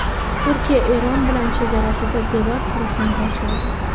Turkiya Eron bilan chegarasida devor qurishni boshladi.